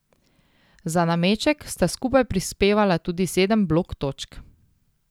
Za nameček sta skupaj prispevala tudi sedem blok točk.